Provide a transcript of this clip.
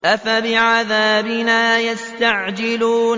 أَفَبِعَذَابِنَا يَسْتَعْجِلُونَ